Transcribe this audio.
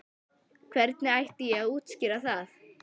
Hvernig ætti ég að útskýra það?